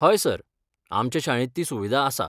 हय सर, आमचे शाळेंत ती सुविधा आसा.